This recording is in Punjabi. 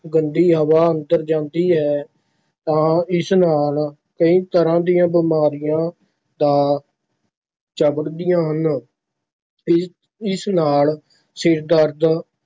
ਗੰਦੀ ਹਵਾ ਅੰਦਰ ਜਾਂਦੀ ਹੈ ਤਾਂ ਇਸ ਨਾਲ ਕਈ ਤਰ੍ਹਾਂ ਦੀਆਂ ਬਿਮਾਰੀਆਂ ਦਾ ਚੰਬੜਦੀਆਂ ਹਨ, ਇ ਇਸ ਨਾਲ ਸਿਰ ਦਰਦ,